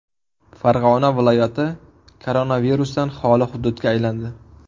Farg‘ona viloyati koronavirusdan xoli hududga aylandi.